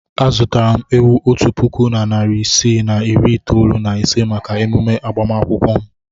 Azụtara m ewu otu puku na narị isii na iri itoolu na ise maka emume agbamakwụkwọ m.